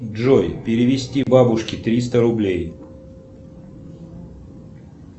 джой перевести бабушке триста рублей